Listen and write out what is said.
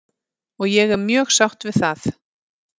Og ég er mjög sátt við það.